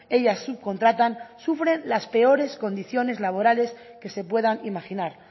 ellas subcontratan sufren las peores condiciones laborales que se puedan imaginar